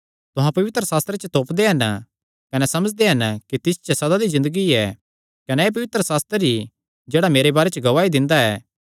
तुहां पवित्रशास्त्रे च तोपदे हन कने समझदे हन कि तिस च सदा दी ज़िन्दगी ऐ कने एह़ पवित्रशास्त्र ई जेह्ड़ा मेरे बारे च गवाही दिंदा ऐ